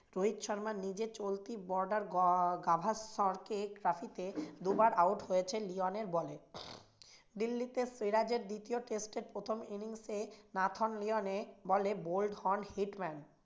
রোহিত শর্মা নিজে চলতি গাভাস্কর trophy তে দুবার out হয়েছেন লিওন এর ball এ। দিল্লী তে ফেরাজের দ্বিতীয় test এ প্রথম innings এ লিওনের ball এ bolt হন hitman